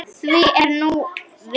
Því er nú ver.